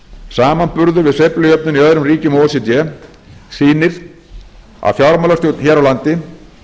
samanburður við sveiflujöfnun í öðrum ríkjum o e c d sýnir að fjármálastjórn hér á landi